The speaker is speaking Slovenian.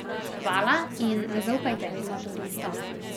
Hvala in ne zaupajte vedno turistom.